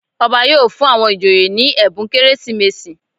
Ọba yóò fún àwọn ìjòyè ní ẹ̀bùn Kérésìmesì.